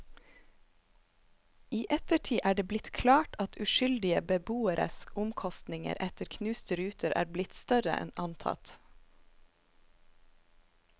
I ettertid er det blitt klart at uskyldige beboeres omkostninger etter knuste ruter er blitt større enn antatt.